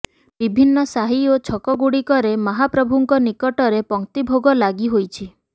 ବିଭିନ୍ନ ସାହି ଓ ଛକଗୁଡ଼ିକରେ ମହାପ୍ରଭୁଙ୍କ ନିକଟରେ ପଙ୍କ୍ତି ଭୋଗ ଲାଗି ହୋଇଛି